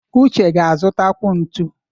Uche ga-azụtakwu ntu.